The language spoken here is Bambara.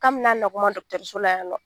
K'an me na nɔgɔman don dɔgɔtɔrɔso la yan nɔ